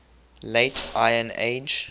late iron age